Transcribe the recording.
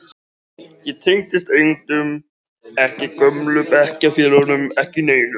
Ég tengdist engum, ekki gömlu bekkjarfélögunum, ekki neinum.